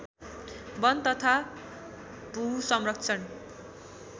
वन तथा भूसंरक्षण